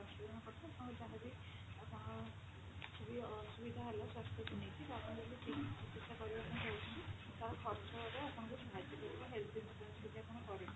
ସ୍ୱାସ୍ଥ୍ୟ ବୀମା ପଡିଥାଏ ଆପଣଙ୍କ ର ଯାହା ବି ତାପରେ ବି ଆପଣଙ୍କର କିଛି ବି ଅସୁବିଧା ହେଲେ ସ୍ୱାସ୍ଥ୍ୟକୁ ନେଇକି ଆପଣ ଯଦି ଠିକ ଚିକିତ୍ସା କରିବାକୁ ଚହୁଁଛନ୍ତି ତାର ଖର୍ଚ୍ଚ ଏବେ ଆପଣଙ୍କୁ ସାହାର୍ଯ୍ୟ କରିବ health insurance ଯଦି ଆପଣ କରିଥିବେ